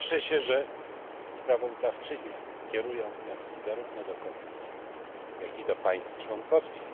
Cieszę się, że sprawozdawczynie kierują wnioski zarówno do Komisji, jak i do państw członkowskich.